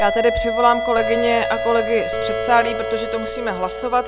Já tedy přivolám kolegyně a kolegy z předsálí, protože to musíme hlasovat.